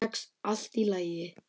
Sex allt í lagi.